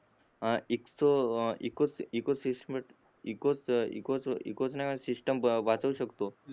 इकोच इकोच इकोच नाही होइल सिस्टम वाचवू शकतो